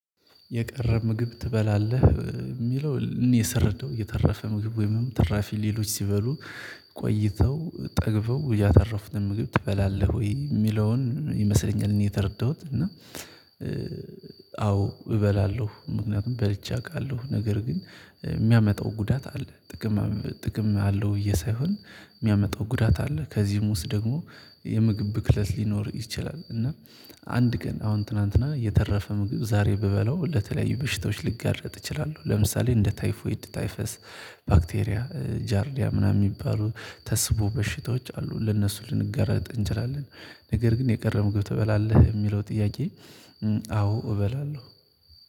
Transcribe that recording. የቀረ ምግብ ትበላለህ? የሚለው እኔ ስረዳው የተረፈ ምግብ ወይም ትራፊ ሌሎች ሲበሉ። ቆይተው ጠግበው ያተረፉን ምግብ ትበላለህ ወይ የሚለውን ይመስለኛል እኔ የተረዳሁት እና። አዎ እበላለሁ ምክንያቱም በልቼ አውቃለሁ ነገር ግን የሚያመጣው ጉዳት አለ ጥቅም ጥቅም አለው ብዬ ሳይሆን የሚያመጣው ጉዳት አለ። ከዚህም ውስጥ ደግሞ የምግብ ብክለት ሊኖር ይችላል። እና አንድ ቀን አሁን ትናንትና የተረፈ ምግብ ዛሬ ብበላው ለተለያዩ በሽታዎች ሊጋረጥ እችላለሁ። ለምሳሌ እንደ ታይፎይድ ታይፈስ ባክቴሪያ ጃርዲያ ምናምን የሚባሉ ተስቦ በሽታዎች አሉ። ለእነሱ ልንጋረጥ እንችላለን። ነገር ግን የቀረ ምግብ ትበላለህ የሚለው ጥያቄ? አዎ እበላለሁ።